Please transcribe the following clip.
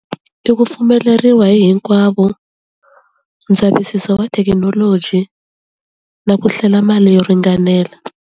I ku pfumeleriwa hi hinkwavo ndzavisiso wa thekinoloji na ku hlela mali yo ringanela.